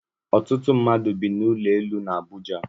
Ọtụtụ mmadụ bi na ụlọ elu na Abuja